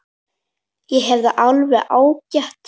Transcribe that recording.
Ég hef það alveg ágætt.